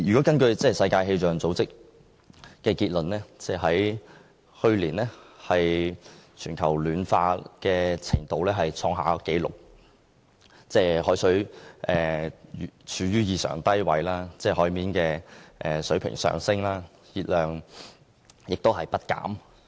根據世界氣象組織的資料，去年全球暖化的程度創下紀錄，海冰處於異常低位，海平面上升，海洋熱量亦不減。